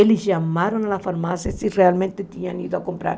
Eles chamaram a farmácia se realmente tinham ido comprar.